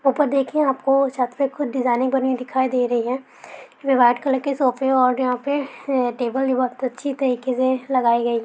ऊपर देखिए आपको छत पे कुछ डिज़ाइन बनी हुई दिखाई दे रही है वाइट कलर की सोफे और यहा पे टेबल भी बहुत अच्छी तरह से लगाई गई है।